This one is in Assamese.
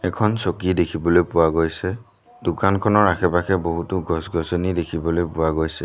এখন চকী দেখিবলৈ পোৱা গৈছে দোকানখনৰ আশে পাশে বহুতো গছ গছনি দেখিবলৈ পোৱা গৈছে।